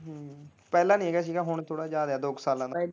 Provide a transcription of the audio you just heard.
ਹਮ ਪਹਿਲਾਂ ਨੀ ਹੈਗਾ ਸੀਗਾ ਹੁਣ ਥੋੜਾ ਜਿਹਾ ਆਗਿਆ ਦੋ ਕ ਸਾਲਾਂ ਤੋਂ।